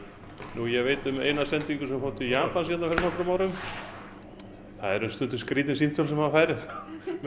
ég veit um eina sendingu sem fór til Japan fyrir nokkrum árum það eru stundum skrítin símtöl sem maður fær með